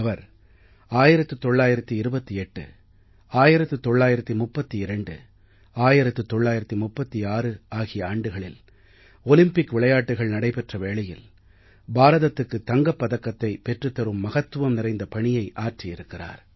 அவர் 1928 1932 1936 ஆகிய ஆண்டுகளில் ஒலிம்பிக் விளையாட்டுக்கள் நடைபெற்ற வேளையில் பாரதத்துக்கு தங்கப் பதக்கத்தை பெற்றுத் தரும் மகத்துவம் நிறைந்த பணியை ஆற்றியிருக்கிறார்